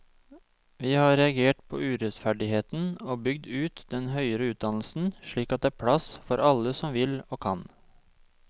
Vi har reagert på urettferdigheten og bygd ut den høyere utdannelsen slik at det er blitt plass for alle som vil og kan.